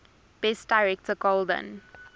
best director golden